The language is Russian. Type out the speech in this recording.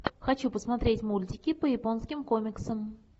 хочу посмотреть мультики по японским комиксам